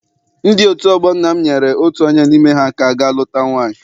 Ndị otu ọgbọ nna m nyere otu onye n'ime ha aka ga luta nwaanyị.